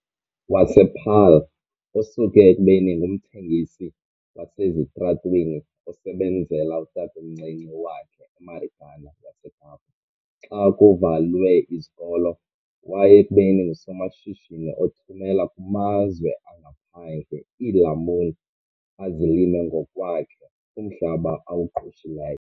wasePaarl, osuke ekubeni ngumthengisi wasesitalatweni osebenzela utatomncinci wakhe eMarikeni yaseKapa xa kuvalwe izikolo waya ekubeni ngusomashishini othumela kumazwe angaphandle iilamuni azilima ngokwakhe kumhlaba awuqeshileyo.